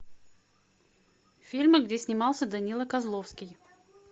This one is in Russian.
фильмы где снимался данила козловский